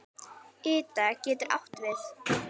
Ida getur átt við